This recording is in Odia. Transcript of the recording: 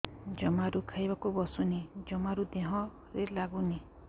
ଜମାରୁ ଖାଇବାକୁ ବସୁନି ଜମାରୁ ଦେହରେ ଲାଗୁନି